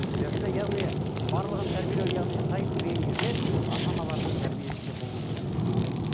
енді яғни барлығын тәрбиелеу яғни сайып келген кезде ата аналардың тәрбиесінде болуы керек қой сонда иә